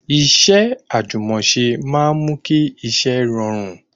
Iṣẹ́ àjùmọ̀ṣe máa ń mú kí iṣẹ́ rọrùn